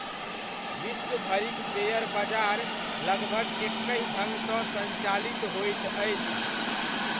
विश्व भरिक शेयर बजार लगभग एकहि ढङ्गसँ सञ्चालित होइत अछि।